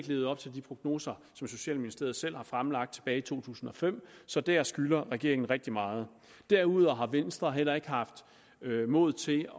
levet op til de prognoser som socialministeriet selv fremlagde tilbage i to tusind og fem så der skylder regeringen rigtig meget derudover har venstre heller ikke haft mod til